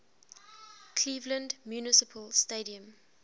cleveland municipal stadium